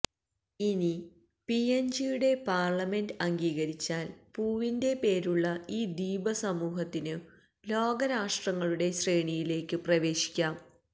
ഇനി പിഎൻജിയുടെ പാർലമെന്റ് അംഗീകരിച്ചാൽ പൂവിന്റെ പേരുള്ള ഈ ദ്വീപസമൂഹത്തിനു ലോകരാഷ്ട്രങ്ങളുടെ ശ്രേണിയിലേക്കു പ്രവേശിക്കാം